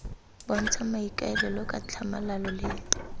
bontshang maikaelelo ka tlhamalalo le